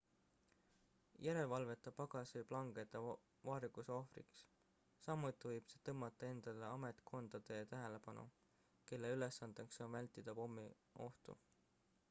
järelevalveta pagas võib langeda varguse ohvriks samuti võib see tõmmata endale ametkondade tähelepanu kelle ülesandeks on vältida pommiohtu